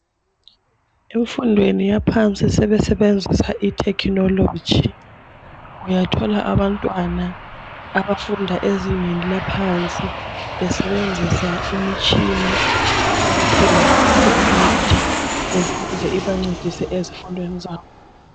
Emfundweni yaphansi sebesenenzisa ithekhinoloji. Uyathola abantwana abafunda ezinengi laphansi besebenzisa imitshina okuthiwa ngamakhompuyutha ukuze ibancedise ezifundweni zabo.